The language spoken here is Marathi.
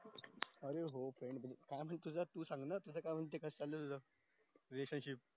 चालू च होत तुझं तू सांग काय विषय चालू ये relationship